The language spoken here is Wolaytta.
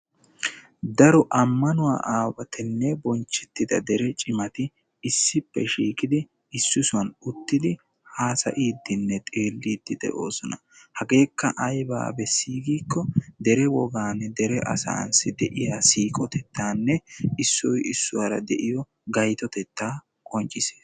Daro ammanuwaa aawatinne bonchchettida asati issippe shiiqidi issisan uttidi haasayiiddinne xeelliddi de'oosona hageekka aybaa bessii giikko dere wogaanne dera asaassi de'iyaa siiqotetaanne issoy issuwaara de'iyaa gaytotetta qonccisses.